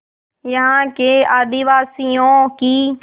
यहाँ के आदिवासियों की